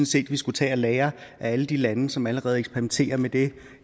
set at vi skulle tage at lære af alle de lande som allerede eksperimenterer med det